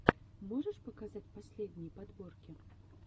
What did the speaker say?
можешь показать последние подборки